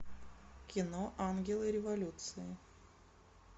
кино ангелы революции